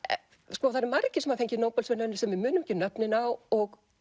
sko það eru margir sem hafa fengið Nóbelsverðlaun sem við munum ekki nöfnin á og